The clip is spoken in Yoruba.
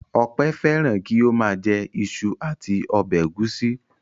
Ọpẹ́ fẹ́ràn kí ó máa jẹ iṣu àti ọbẹ̀ ẹ̀gúsí.